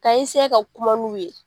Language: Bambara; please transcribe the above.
Ka ka kuma n'u ye.